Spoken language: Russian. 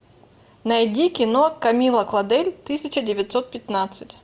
найди кино камилла клодель тысяча девятьсот пятнадцать